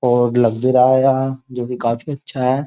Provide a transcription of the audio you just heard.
और लग भी रहा है यार जो कि काफी अच्छा है।